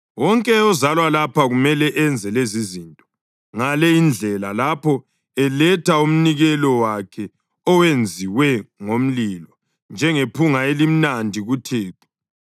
Wonke ozalwa lapha kumele enze lezizinto ngale indlela lapho eletha umnikelo wakhe owenziwe ngomlilo njengephunga elimnandi kuThixo.